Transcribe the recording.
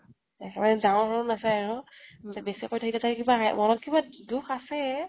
একেবাৰে ডাঙৰ সৰু নাচায় আৰু। বেছি কৈ থাকিলে তাই কিবা সেই মনত কিবা দুখ আছে